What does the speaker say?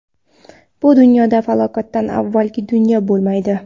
Bu dunyo falokatdan avvalgi dunyo bo‘lmaydi.